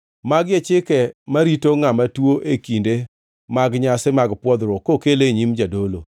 “Magi e chike marito ngʼama tuo e kinde mag nyasi mag pwodhruok kokele e nyim jadolo: